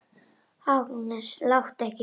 Agnes, láttu ekki svona!